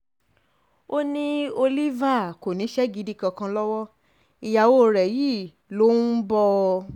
ó um ní oliver kò níṣẹ́ gidi kankan lọ́wọ́ ìyàwó rẹ̀ yìí um ló ń bọ́ ọ